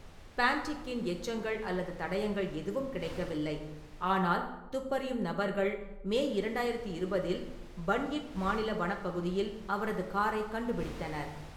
பேண்டிக்கின் எச்சங்கள் அல்லது தடயங்கள் எதுவும் கிடைக்கவில்லை, ஆனால் துப்பறியும் நபர்கள் மே இரண்டாயிரத்து இருபதில் பன்யிப் மாநில வனப்பகுதியில் அவரது காரைக் கண்டுபிடித்தனர்.